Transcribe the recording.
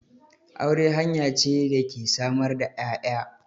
Aure hanya ce da ke samar da 'ya'ya.